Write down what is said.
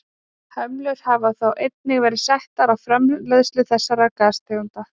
Hömlur hafa þó einnig verið settar á framleiðslu þessara gastegunda.